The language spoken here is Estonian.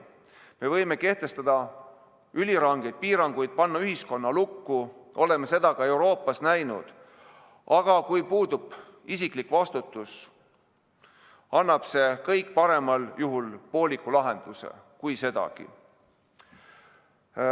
Me võime kehtestada ülirangeid piiranguid, panna ühiskonna lukku – oleme seda ka Euroopas näinud –, aga kui puudub isiklik vastutus, annab see kõik parimal juhul pooliku lahenduse, kui sedagi.